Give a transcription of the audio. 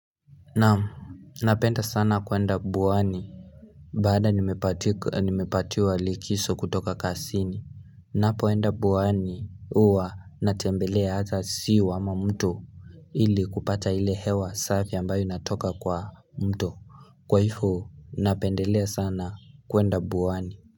Naamu, napenda sana kuenda buwani. Baada nimepatiwa likiso kutoka kasini, napoenda buwani uwa natembelea hata siwa ama muto ili kupata ile hewa safi ambayo inatoka kwa mto. Kwa ifo, napendelea sana kuenda buwani.